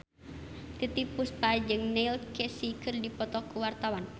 Titiek Puspa jeung Neil Casey keur dipoto ku wartawan